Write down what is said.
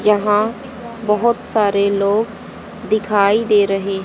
यहां बहोत सारे लोग दिखाई दे रहे--